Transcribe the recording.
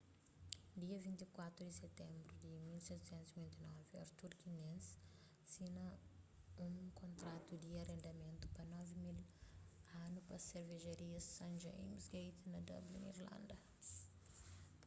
dia 24 di sitenbru di 1759 arthur guinness sina un kontratu di arendamentu pa 9.000 anu pa servejaria st james' gate na dublin irlanda